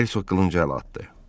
Hersoq qılınca əl atdı.